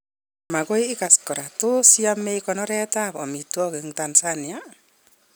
Magoi igas kora, tos yame konoret ab amitwogik eng Tansania